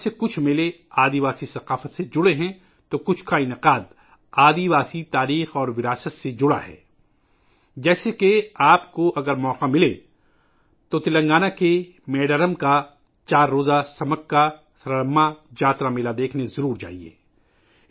ان میں سے کچھ میلے قبائلی ثقافت سے جڑے ہیں، تو کچھ کا انعقاد آدی واسی تاریخ اور وراثت سے جڑا ہے ، جیسا کہ ، اگر آپ کو موقع ملے تو آپ کو تلنگانہ کے میڈارم میں چار روزہ سمکاسرلمہ جاترا میلہ ضرور دیکھنا چاہیئے